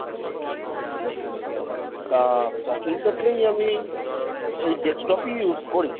তা তখন থেকেই আমি এই desktop ই use করি।